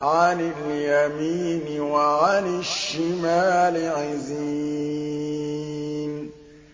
عَنِ الْيَمِينِ وَعَنِ الشِّمَالِ عِزِينَ